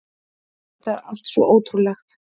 Þetta er allt svo ótrúlegt